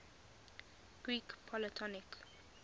greek polytonic